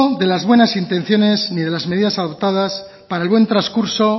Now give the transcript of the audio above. de las buenas intenciones ni de las medidas adoptadas para el buen transcurso